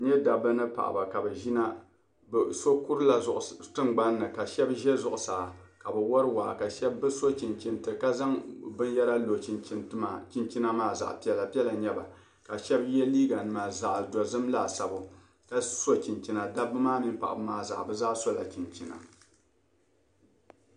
N-nye dabba ni paɣaba ka bɛ ʒina bɛ so kurila tingbani ni ka shɛb' ʒe zuɣusaa ka bɛ wari waa ka bɛ so chinchinti ka zaŋ binyɛra lo chinchinti maa chinchina maa zaɣ'piɛla piɛla n-nye ba ka shɛb' ye liiyenima zaɣ'dozim laasabu ka so chinchina dabba maa mini paɣaba maa zaa bɛ zaa sola chinchina.